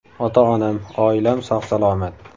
Ota-onam, oilam sog‘-salomat.